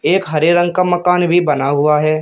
एक हरे रंग का मकान भी बना हुआ है।